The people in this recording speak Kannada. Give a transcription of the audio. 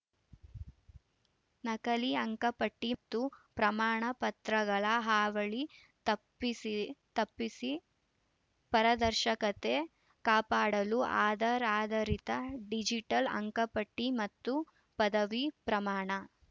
ನಕಲಿ ಅಂಕಪಟ್ಟಿಮತ್ತು ಪ್ರಮಾಣ ಪತ್ರಗಳ ಹಾವಳಿ ತಪ್ಪಿಸಿ ತಪ್ಪಿಸಿ ಪಾರದರ್ಶಕತೆ ಕಾಪಾಡಲು ಆಧಾರ್‌ ಆಧರಿತ ಡಿಜಿಟಲ್‌ ಅಂಕಪಟ್ಟಿಮತ್ತು ಪದವಿ ಪ್ರಮಾಣ